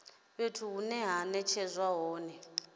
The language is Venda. fhethu hune ha netshedzwa hone